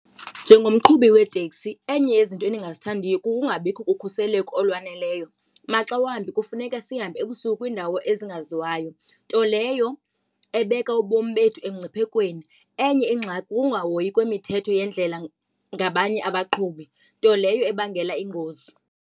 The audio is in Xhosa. Njengomqhubi weeteksi, enye yezinto endingazithandiyo kukungabikho kokhuseleko olwaneleyo maxa wambi kufuneka sihambe ebusuku kwiindawo ezingaziwayo, nto leyo ebeka ubomi bethu emngciphekweni. Enye ingxaki kukungahoyi kwemithetho yendlela ngabanye abaqhubi, nto leyo ebangela ingozi.